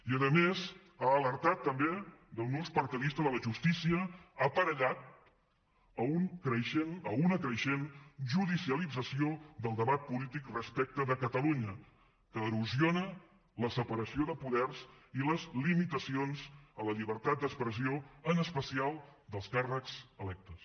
i a més ha alertat també d’un ús partidista de la justícia aparellat a una creixent judicialització del debat polític respecte de catalunya que erosiona la separació de poders i les limitacions a la llibertat d’expressió en especial dels càrrecs electes